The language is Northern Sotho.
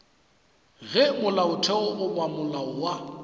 ge molaotheo goba molao wa